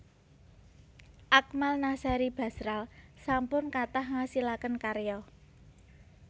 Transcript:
Akmal Nasery Basral sampun kathah ngasilaken karya